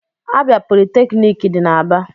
Abịa politeknik dị n'Aba